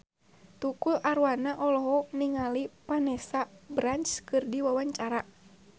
Tukul Arwana olohok ningali Vanessa Branch keur diwawancara